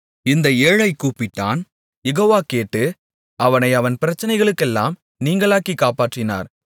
இந்த ஏழை கூப்பிட்டான் யெகோவா கேட்டு அவனை அவன் பிரச்சனைகளுக்கெல்லாம் நீங்கலாக்கி காப்பாற்றினார்